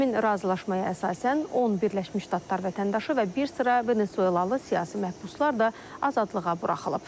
Həmin razılaşmaya əsasən 10 Birləşmiş Ştatlar vətəndaşı və bir sıra Venezuelalı siyasi məhbuslar da azadlığa buraxılıb.